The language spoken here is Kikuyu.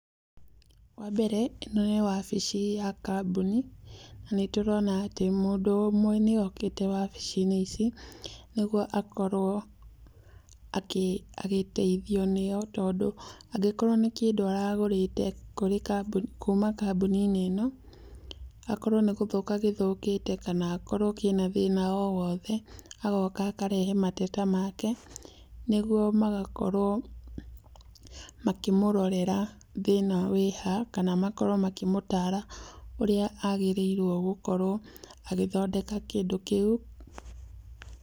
Wambere ĩno nĩ wabici ya kambuni na nĩtũrona mũndũ ũmwe nĩokĩte wabici-inĩ ici nĩguo akorwo agĩteithio, tondũ angĩkorwo nĩ kĩndũ aragũrĩte kuma kambuni-inĩ ĩno, akorwo nĩ gũthũka gĩthũkĩte, kana akorwo kĩna thĩna o wothe, agoka akarehe mateta make, nĩguo magakorwo makĩmũrorera thĩna wĩha, kana makorwo makĩmũtara ũrĩa agĩrĩirwo nĩgũkorwo agĩthondeka kĩndũ kĩu.